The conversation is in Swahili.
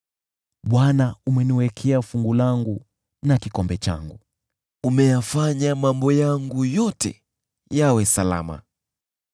Bwana umeniwekea fungu langu na kikombe changu; umeyafanya mambo yangu yote yawe salama.